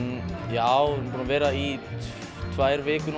já vera í tvær vikur